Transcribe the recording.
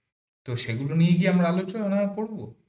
তো সেগুলো নিয়ে কি আমরা আলোচনা কর